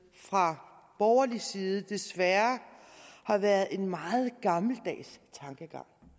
fra borgerlig side desværre har været en meget gammeldags tankegang